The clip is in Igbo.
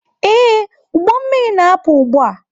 Ee, ụgbọ mmiri na-apụ ugbu a.